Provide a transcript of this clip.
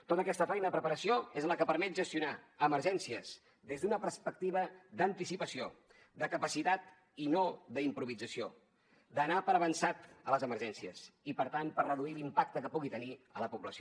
tota aquesta feina de preparació és la que permet gestionar emergències des d’una perspectiva d’anticipació de capacitat i no d’improvisació d’anar per avançat a les emergències i per tant per reduir l’impacte que pugui tenir a la població